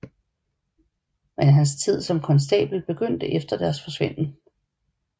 Men hans tid som konstabel begyndte efter deres forsvinden